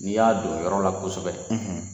N'i y'a don yɔrɔ la kosɔbɛ